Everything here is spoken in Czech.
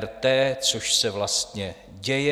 RT, což se vlastně děje.